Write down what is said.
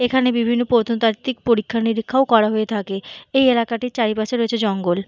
এখানে বিভিন্ন প্রত্নতাত্বিক পরীক্ষা নিরীক্ষা ও করা হয়ে থাকে। এই এলাকাটির চারিপাশে রয়েছে জঙ্গল।